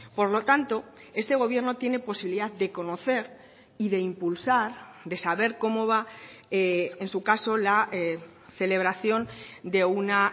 por lo tanto este gobierno tiene posibilidad de conocer y de impulsar de saber cómo va en su caso la celebración de una